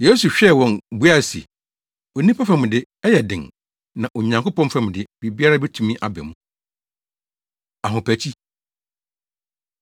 Yesu hwɛɛ wɔn buae se, “Onipa fam de, ɛyɛ den, na Onyankopɔn fam de, biribiara betumi aba mu.” Ahopakyi